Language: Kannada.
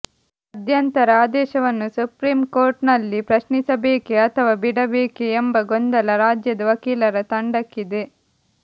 ಮಧ್ಯಂತರ ಆದೇಶವನ್ನು ಸುಪ್ರೀಂ ಕೋರ್ಟ್ನಲ್ಲಿ ಪ್ರಶ್ನಿಸಬೇಕೇ ಅಥವಾ ಬಿಡಬೇಕೇ ಎಂಬ ಗೊಂದಲ ರಾಜ್ಯದ ವಕೀಲರ ತಂಡಕ್ಕಿದೆ